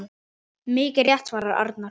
Mikið rétt svarar Arnar.